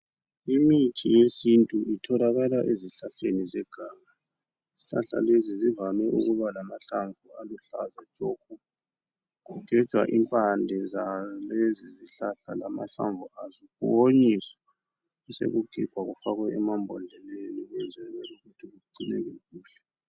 Imithi yesintu itholakala ezihlahleni zeganga izihlahla lezi zivame ukuba lamahlamvu aluhlaza tshoko kugejwa impande zalezi zihlahla lamahlamvu azo kuwonyiswe besokugigwa kufakwe emambhodleleni ukwenzela ukuthi kugcineke kuhle.